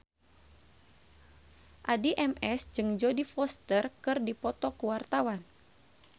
Addie MS jeung Jodie Foster keur dipoto ku wartawan